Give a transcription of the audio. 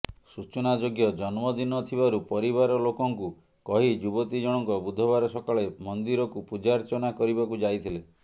ସୂଚନାଯୋଗ୍ୟ ଜନ୍ମଦିନ ଥିବାରୁ ପରିବାର ଲୋକଙ୍କୁ କହି ଯୁବତୀ ଜଣଙ୍କ ବୁଧବାର ସକାଳେ ମନ୍ଦିରକୁ ପୂଜାର୍ଚ୍ଚନା କରିବାକୁ ଯାଇଥିଲେ